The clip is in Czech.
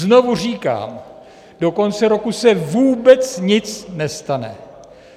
Znovu říkám, do konce roku se vůbec nic nestane.